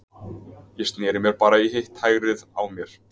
Ég sneri mér bara í hitt hægrið á mér.